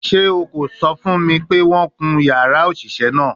Ṣe o ko sọ fun mi pe wọn ya yara oṣiṣẹ naa?